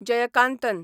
Jayakanthan